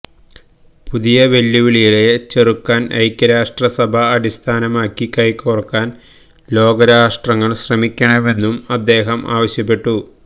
പുതിയ വെല്ലുവിളിയെ ചെറുക്കാൻ ഐക്യരാഷ്ട്ര സഭ അടിസ്ഥാനമാക്കി കൈകോർക്കാൻ ലോകരാഷ്ട്രങ്ങൾ ശ്രമിക്കണമെന്നും അദ്ദേഹം ആവശ്യപ്പെട്ടു